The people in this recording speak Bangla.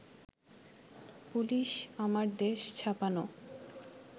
পুলিশ আমার দেশ ছাপানো